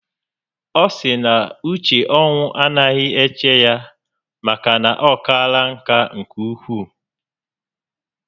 Ọ sịrị na uche ọnwụ anaghị eche ya maka na o kaala nkà nke ukwu